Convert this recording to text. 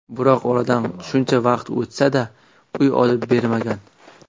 Biroq oradan shuncha vaqt o‘tsa-da, uy olib bermagan.